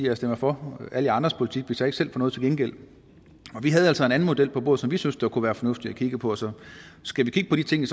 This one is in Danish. jeg stemmer for alle jer andres politik hvis jeg ikke selv får noget til gengæld og vi havde altså en anden model på bordet som vi synes det kunne være fornuftigt at kigge på så skal vi kigge på de ting